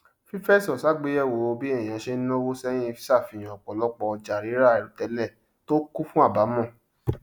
fífẹsọ sàgbéyẹwò bí èyàn ṣe nàwó sẹyìn sàfíhàn ọpọlọpọ ọjà rírà àìròtẹlẹ tó kún fún àbámọ